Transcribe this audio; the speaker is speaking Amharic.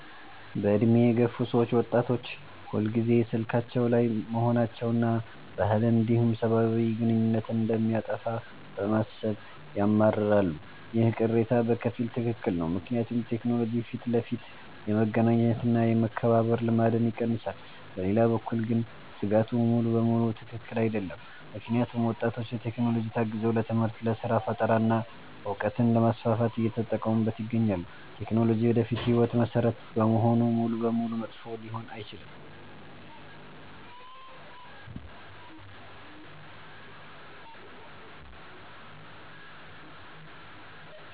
በዕድሜ የገፉ ሰዎች ወጣቶች ሁልጊዜ ስልካቸው ላይ መሆናቸውንና ባህልን እንዲሁም ሰብአዊ ግንኙነትን እንደሚያጠፋ በማሰብ ያማርራሉ። ይህ ቅሬታ በከፊል ትክክል ነው፤ ምክንያቱም ቴክኖሎጂ ፊት ለፊት የመገናኘት እና የመከባበር ልማድን ይቀንሳል። በሌላ በኩል ግን ስጋቱ ሙሉ በሙሉ ትክክል አይደለም፤ ምክንያቱም ወጣቶች በቴክኖሎጂ ታግዘው ለትምህርት፣ ለስራ ፈጠራ እና እውቀትን ለማስፋፋት እየተጠቀሙበት ይገኛሉ። ቴክኖሎጂ የወደፊት ህይወት መሰረት በመሆኑ ሙሉ በሙሉ መጥፎ ሊሆን አይችልም።